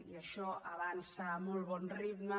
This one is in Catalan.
i això avança a molt bon ritme